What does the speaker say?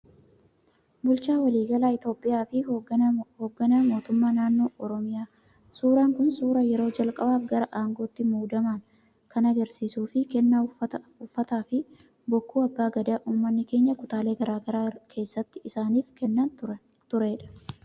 Bulchaa waliigalaa Itoophiyaa fi hoogganaa mootummaa naannoo Oromiyaa. Suuraan kun suuraa yeroo jalqabaaf gara aangootti muudaman kan argisiisuu fi kennaa uffataa fi bokkuu abbaa gadaa uummanni keenya kutaalee garaa garaa keessatti isaaniif kennaa turedha.